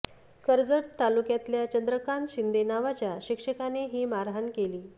कर्जत तालुक्यातल्या चंद्रकांत शिंदे नावाच्या शिक्षकाने ही मारहाण केली